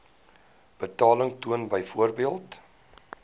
betaling toon byvoorbeeld